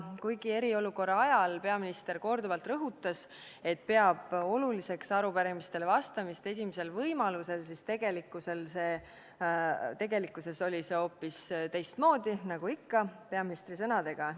Kuigi eriolukorra ajal peaminister korduvalt rõhutas, et peab oluliseks arupärimistele vastamist esimesel võimalusel, siis tegelikkuses oli hoopis teistmoodi, nagu on ikka peaministri sõnadega.